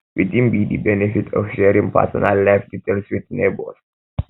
wetin be di benefit of sharing personal life details with neighbors